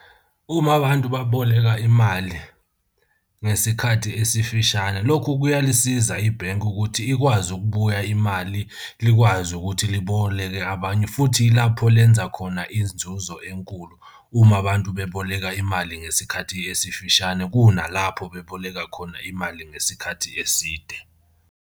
Uma abantu baboleka imali ngesikhathi esifishane, lokhu kuyalisiza ibhenki ukuthi ikwazi ukubuya imali, likwazi ukuthi liboleke abenye futhi ilapho lenza khona inzuzo enkulu uma abantu beboleka imali ngesikhathi esifishane kunalapho beboleka khona imali ngesikhathi eside.